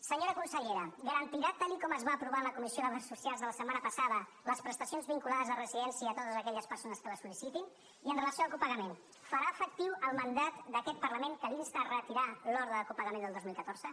senyora consellera garantirà tal com es va aprovar a la comissió d’afers socials de la setmana passada les prestacions vinculades a residència a totes aquelles persones que les sol·licitin i amb relació al copagament farà efectiu el mandat d’aquest parlament que l’insta a retirar l’ordre de copagament del dos mil catorze